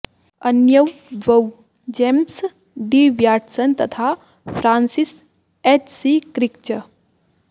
अन्यौ द्वौ James D Watson तथा फ्रान्सिस् एच् सि क्रिक् च